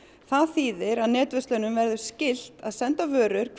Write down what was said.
það þýðir að netverslunum verði skylt að senda vörur